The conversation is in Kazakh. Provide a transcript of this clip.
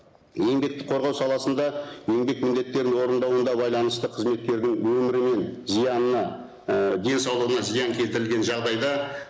еңбекті қорғау саласында еңбек міндеттерін орындауында байланысты қызметкердің өмірі мен і денсаулығына зиян келтірілген жағдайда